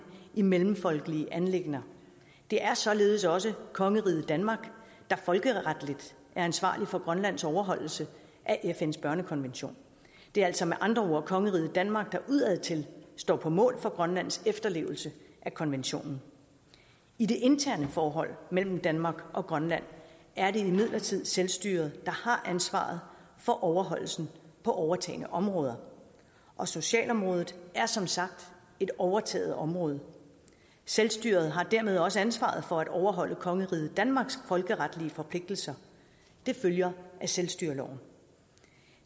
i mellemfolkelige anliggender det er således også kongeriget danmark der folkeretligt er ansvarlig for grønlands overholdelse af fns børnekonvention det er altså med andre ord kongeriget danmark der udadtil står på mål for grønlands efterlevelse af konventionen i det interne forhold mellem danmark og grønland er det imidlertid selvstyret har ansvaret for overholdelsen på overtagne områder og socialområdet er som sagt et overtaget område selvstyret har dermed også ansvaret for at overholde kongeriget danmarks folkeretlige forpligtelser det følger af selvstyreloven